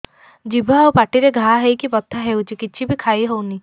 ଜିଭ ଆଉ ପାଟିରେ ଘା ହେଇକି ବଥା ହେଉଛି କିଛି ବି ଖାଇହଉନି